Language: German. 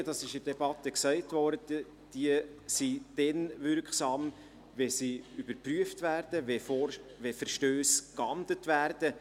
Wie in der Debatte erwähnt wurde, sind Obligatorien dann wirksam, wenn sie überprüft und Verstösse geahndet werden.